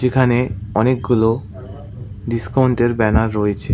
এখানে অনেকগুলো ডিসকাউন্ট -এর ব্যানার রয়েছে।